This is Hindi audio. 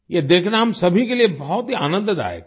यह देखना हम सभी के लिए बहुत ही आनंददायक था